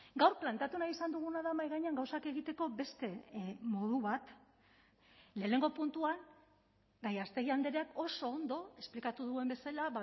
gaur planteatu nahi izan duguna da mahai gainean gauzak egiteko beste modu bat lehenengo puntuan gallástegui andreak oso ondo esplikatu duen bezala